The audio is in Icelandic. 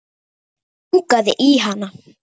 Mig langaði í hana.